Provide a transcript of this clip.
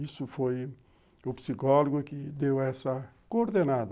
Isso foi o psicólogo que deu essa coordenada.